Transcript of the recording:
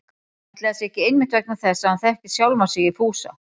Ætli það sé ekki einmitt vegna þess að hann þekkir sjálfan sig í Fúsa